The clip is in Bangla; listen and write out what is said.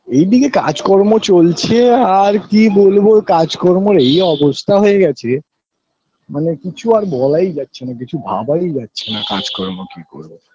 এইদিকে কাজ কর্ম চলছে আর কি বলব কাজ কর্ম এই অবস্থা হয়ে গেছে মানে কিছু আর বলাই যাছে না কিছু ভাবাই যাছে না কাজ কর্ম কি করব